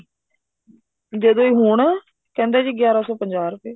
ਜਦੋਂ ਹੁਣ ਕਹਿੰਦੇ ਗਿਆਰਾਂ ਸੋ ਪੰਜਾਹ ਰੁਪਏ